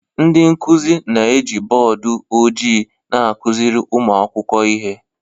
Ndị nkuzi na-eji bọọdụ ojii na-akụziri ụmụ akwụkwọ ihe